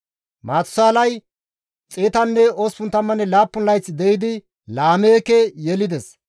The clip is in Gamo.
Maatusaalay 187 layth de7idi Laameeke yelides;